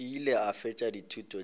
ile a fetša dithuto tša